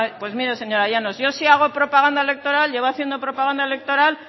pues mire señora llanos yo si hago propaganda electoral llevo haciendo propaganda electoral